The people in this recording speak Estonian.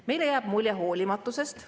Meile jääb mulje hoolimatusest.